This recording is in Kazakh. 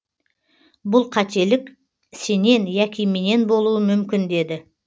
бұл қателік сенен яки менен болуы мүмкін деді